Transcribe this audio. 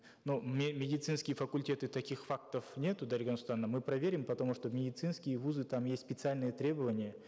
но медицинские факультеты таких фактов нету дарига нурсултановна мы проверим потому что в медицинские вузы там есть специальные требования